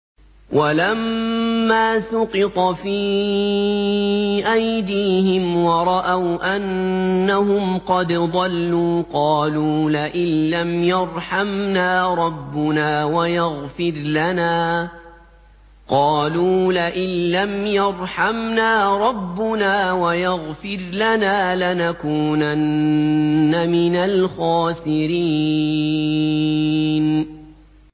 وَلَمَّا سُقِطَ فِي أَيْدِيهِمْ وَرَأَوْا أَنَّهُمْ قَدْ ضَلُّوا قَالُوا لَئِن لَّمْ يَرْحَمْنَا رَبُّنَا وَيَغْفِرْ لَنَا لَنَكُونَنَّ مِنَ الْخَاسِرِينَ